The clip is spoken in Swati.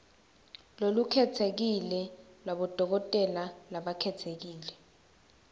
lolukhetsekile lwabodokotela labakhetsekile